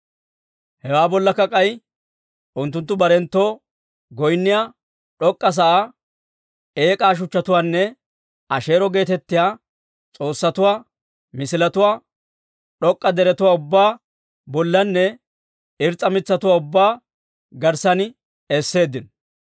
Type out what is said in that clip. Hewaa bollakka k'ay unttunttu barenttoo goynniyaa d'ok'k'a sa'aa, eek'aa shuchchatuwaanne Asheero geetettiyaa s'oossatuwaa misiletuwaa d'ok'k'a deretuwaa ubbaa bollanne irs's'a mitsatuwaa ubbaa garssan esseeddino.